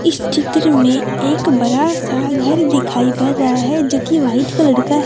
इस चित्र में एक बड़ा सा घर दिखाई पर रहा है जो कि व्हाइट कलर का--